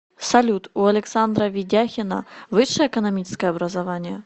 салют у александра ведяхина высшее экономическое образование